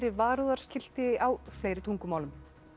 varúðarskilti á fleiri tungumálum